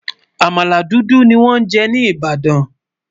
àmàlà dúdú ní wón jé ní ibadan